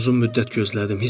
Mən uzun müddət gözlədim.